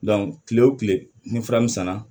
kile o kile ni fra min sanna